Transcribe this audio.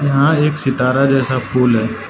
यहां एक सितारा जैसा फूल है।